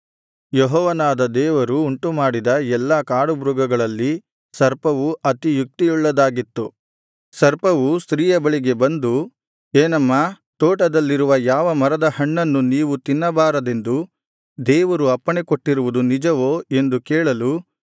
ಯೆಹೋವನಾದ ದೇವರು ಉಂಟುಮಾಡಿದ ಎಲ್ಲಾ ಕಾಡುಮೃಗಗಳಲ್ಲಿ ಸರ್ಪವು ಅತಿ ಯುಕ್ತಿಯುಳ್ಳದ್ದಾಗಿತ್ತು ಸರ್ಪವು ಸ್ತ್ರೀಯ ಬಳಿಗೆ ಬಂದು ಏನಮ್ಮಾ ತೋಟದಲ್ಲಿರುವ ಯಾವ ಮರದ ಹಣ್ಣನ್ನು ನೀವು ತಿನ್ನಬಾರದೆಂದು ದೇವರು ಅಪ್ಪಣೆ ಕೊಟ್ಟಿರುವುದು ನಿಜವೋ ಎಂದು ಕೇಳಲು